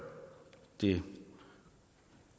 det